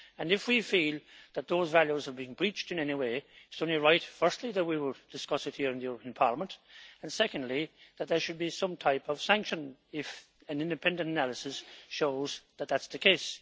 If we feel that those values have been breached in any way, it is only right, firstly, that we should discuss it here in the European Parliament, and secondly, that there should be some type of sanction if an independent analysis shows that that is the case.